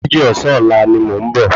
Ago méjì ọ̀sán ọ̀la ni mò ń bọ̀